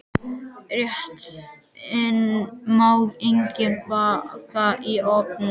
Réttinn má einnig baka í ofni.